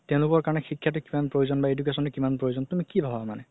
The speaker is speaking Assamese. তেওলোকৰ কাৰণে শিক্ষাতো কিমান প্ৰয়োজন বা education তো কিমান প্ৰয়োজন তুমি কি ভাবা মানে